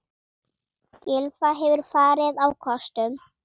Gylfi hefur farið á kostum.